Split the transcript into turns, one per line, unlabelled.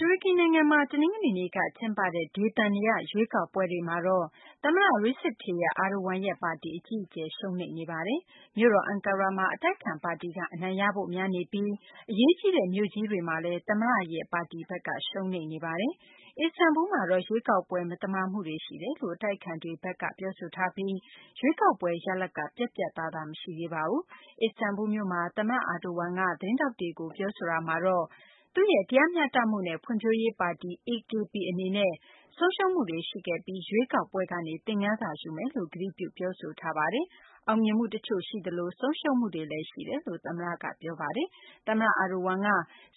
တူရကီ နိုင်ငံမှ တနင်္ဂနွေနေ့က ကျင်းပတဲ့ ဒေသန္တရ ရွေးကောက်ပွဲတွေမှာတော့ သမ္မတ Recep Tayyip Erdogan ရဲ့ ပါတီ အကြီးအကျယ် ရှုံးနိမ့်ခဲ့ပါတယ်။ မြို့တော် အန်ကာရာမှာ အတိုက်အခံပါတီက အနိုင်ရဖို့ များနေပြီး အရေးကြီးတဲ့ မြို့ကြီးတွေမှာလည်း သမ္မတ Erdogan ရဲ့ ပါတီဘက်က ရှုံးနိမ့်နေပါတယ်။ အစ္စတန်ဘူးလ်းမှာတော့ ရွေးကောက်ပွဲ မသမာမှုတွေ ရှိတယ်လို့ အတိုက်အခံတွေဘက်က ပြောဆိုထားပြီး ရွေးကောက်ပွဲ ရလဒ်က ပြတ်ပြတ်သားသား မရှိသေးပါဘူး။ အစ္စတန်ဘူးလ်မြို့မှာ သမ္မတ Erdogan က သတင်းထောက်တွေကို ပြောဆိုတာမှာတော့ သူ့ရဲ့ တရားမျှတမှုနဲ့ ဖွံ့ဖြိုးရေး ပါတီ AKP အနေနဲ့ ဆုံးရှုံးမှုတွေ ရှိခဲ့ပြီး ရွေးကောက်ပွဲကနေ သင်ခန်းစာယူပါမယ်လို့ ကတိပြု ပြောဆိုခဲ့ပါတယ်။ အောင်မြင်မှု တချို့ ရှိသလို ဆုံးရှုံးမှုတွေလည်း ရှိတယ်လို့ သမ္မတက ပြောခဲ့တာပါ။ သမ္မတ Erdogan က